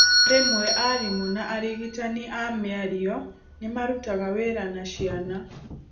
Rĩmwe arimũ na arigitani a mĩario nĩ marutaga wĩra na ciana.